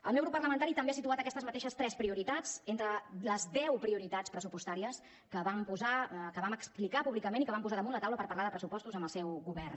el meu grup parlamentari també ha situat aquestes mateixes tres prioritats entre les deu prioritats pressupostàries que vam explicar públicament i que vam posar damunt la taula per parlar de pressupostos amb el seu govern